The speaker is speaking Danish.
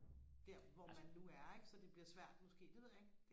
der hvor man nu er ikke så det bliver svært måske det ved jeg ikke